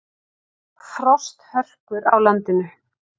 Frosthörkur á landinu